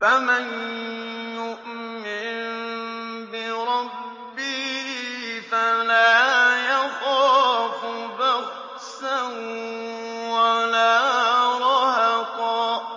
فَمَن يُؤْمِن بِرَبِّهِ فَلَا يَخَافُ بَخْسًا وَلَا رَهَقًا